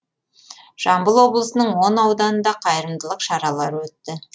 жамбыл облысының он ауданында қайырымдылық шаралары өтті